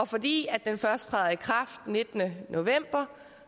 fordi den først træder i kraft den nittende november